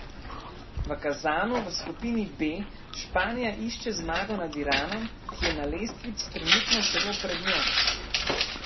V Kazanu v skupini B Španija išče zmago nad Iranom, ki je na lestvici trenutno celo pred njo.